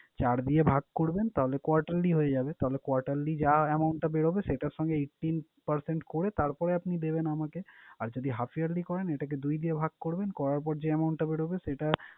চার দিয়ে ভাগ করবেন তাহলে quarterly হয়ে যাবে। তাহলে quarterly যা amount টা বের হবে সেটার সঙ্গে eighteen percent করে তারপরে আপনি দেবেন আমাকে। আর যদি half yearly করেন এটাকে দুই দিয়ে ভাগ করবেন, করার পর যেই amount টা বের হবে সেইটা